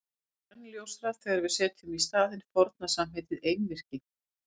Þetta verður enn ljósara þegar við setjum í staðinn forna samheitið einvirki.